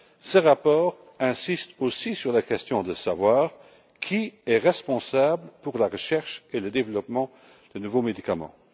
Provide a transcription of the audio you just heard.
Ce rapport insiste aussi sur la question de savoir qui est responsable de la recherche et du développement de nouveaux médicaments.